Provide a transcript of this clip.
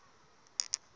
na yena a a ri